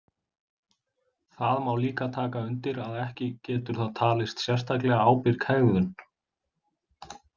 Það má líka taka undir að ekki getur það talist sérstaklega ábyrg hegðun.